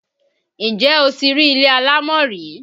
Ǹjẹ́ o ti rí ilé alámọ̀ rí?